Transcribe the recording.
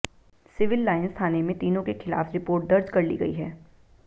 civil lines थाने में तीनों के खिलाफ रिपोर्ट दर्ज कर ली गई है